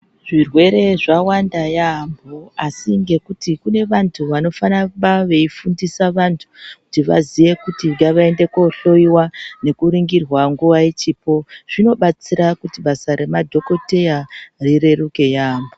Zvirwere zvawanda yambo asi ngekuti kune vantu anoramba eyifundisa antu kuti vazive kuti ngavaende kunohloyiwa nekuringirwa nguva ichipo zvino batsira kuti basa ramadhokoteya rireruke yambo.